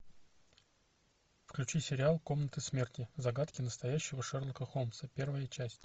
включи сериал комнаты смерти загадки настоящего шерлока холмса первая часть